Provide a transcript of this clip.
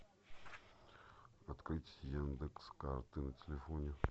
открыть яндекс карты на телефоне